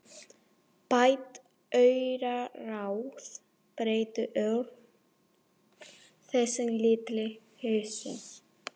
Bætt auraráð breyttu ört þessum litlu húsum.